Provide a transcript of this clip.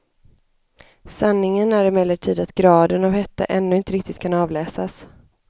Sanningen är emellertid att graden av hetta ännu inte riktigt kan avläsas.